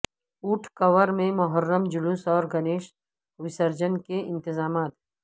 اوٹکور میں محرم جلوس اور گنیش وسرجن کے انتظامات